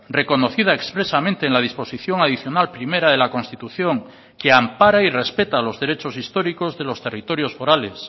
reconocida expresamente en la disposición adicional primera de la constitución que ampara y respeta los derechos históricos de los territorios forales